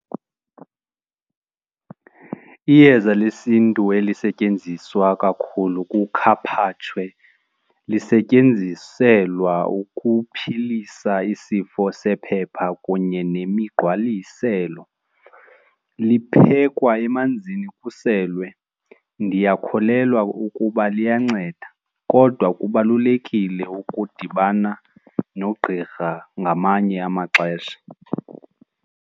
Iyeza lesiNtu elisetyenziswa kakhulu kukhaphatshwe sisetyenziselwa ukuphilisa isifo sephepha kunye nemigqwaliselo liphekhwa emanzini kuselwe. Ndiyakholelwa ukuba liyanceda kodwa kubalulekile ukudibana nogqirha ngamanye amaxesha.